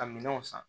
Ka minɛnw san